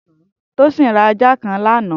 Tosin rà àjá kãn lànã